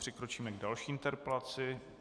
Přikročíme k další interpelaci.